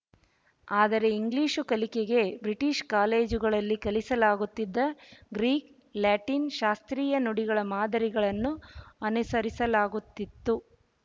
ಆದರೆ ಇಂಗ್ಲಿಶು ಕಲಿಕೆಗೆ ಬ್ರಿಟಿಶ ಕಾಲೇಜುಗಳಲ್ಲಿ ಕಲಿಸಲಾಗುತ್ತಿದ್ದ ಗ್ರೀಕ್ ಲ್ಯಾಟಿನ್ ಶಾಸ್ತ್ರೀಯ ನುಡಿಗಳ ಮಾದರಿಗಳನ್ನು ಅನುಸರಿಸಲಾಗುತಿತ್ತು